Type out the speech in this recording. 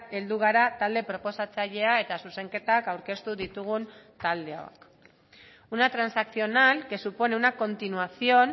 heldu gara talde proposatzailea eta zuzenketak aurkeztu ditugun taldeok una transaccional que supone una continuación